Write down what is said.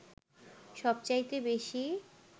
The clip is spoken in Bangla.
সবচাইতে বেশী